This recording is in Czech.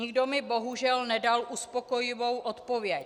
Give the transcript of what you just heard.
Nikdo mi bohužel nedal uspokojivou odpověď.